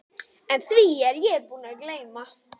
En því er ég líka búinn að gleyma.